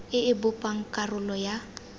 e e bopang karolo ya